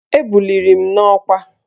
Ebuliri m n'ọkwá